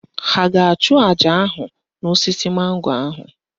Ha a ga-achụ àjà ahụ n'osisi mango ahụ?